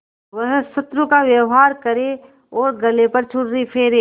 वह शत्रु का व्यवहार करे और गले पर छुरी फेरे